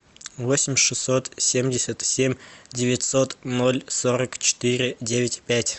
восемь шестьсот семьдесят семь девятьсот ноль сорок четыре девять пять